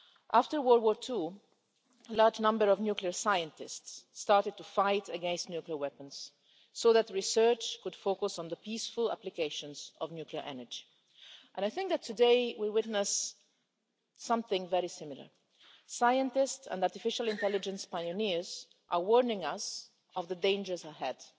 After World War II, a large number of nuclear scientists started to oppose nuclear weapons so that research could focus on the peaceful applications of nuclear energy, and I think that today we are witnessing something very similar scientists and artificial intelligence pioneers are warning us of the dangers ahead.